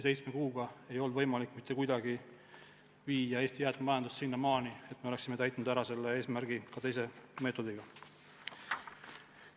Seitsme kuuga ei olnud võimalik mitte kuidagi viia Eesti jäätmemajandust sinnamaani, et me oleksime selle eesmärgi täitnud mingit teist meetodit rakendades.